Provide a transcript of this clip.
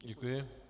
Děkuji.